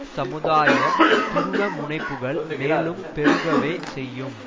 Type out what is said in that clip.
சமுதாய துருவமுனைப்புகள் மேலும் பெருகவே செய்யும்